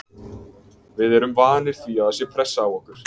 Við erum vanir því að það sé pressa á okkur.